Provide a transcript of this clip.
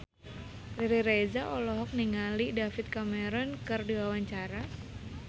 Riri Reza olohok ningali David Cameron keur diwawancara